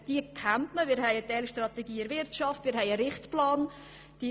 Wir haben eine solche für die Wirtschaft, wir haben einen Richtplan und so weiter.